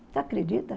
Você acredita?